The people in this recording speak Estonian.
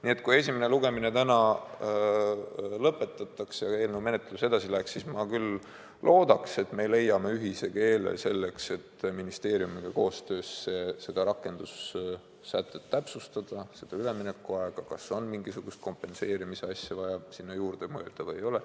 Nii et kui esimene lugemine täna lõpetataks ja eelnõu menetlus edasi läheks, siis ma küll loodaks, et me leiame ühise keele, selleks et ministeeriumiga koostöös täpsustada seda rakendussätet, seda üleminekuaega, kas on mingisugust kompenseerimisasja sinna juurde vaja mõelda või ei ole.